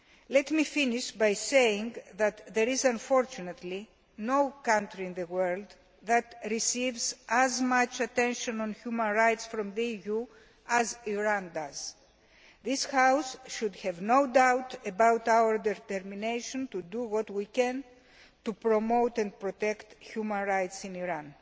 Let me finish by saying that there is unfortunately no country in the world that receives as much attention on human rights from the EU as Iran does. This House should have no doubt about our determination to do what we can to promote and protect human rights in Iran.